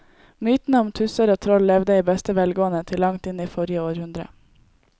Mytene om tusser og troll levde i beste velgående til langt inn i forrige århundre.